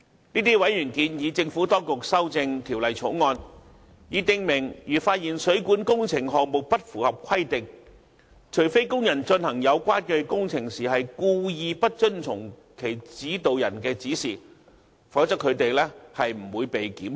這些委員建議政府當局修正《條例草案》，以訂明如發現水管工程項目不符合規定，除非工人進行有關工程時故意不遵從其指導人的指示，否則他們不會被檢控。